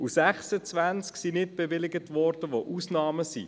26, bei denen es sich um Ausnahmen handelte, wurden nicht bewilligt.